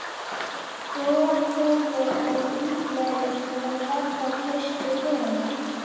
Hvor þeirra er líklegri til að verða traustur vinur?